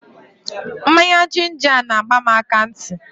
Mmanya jinja a na-agba m akantị.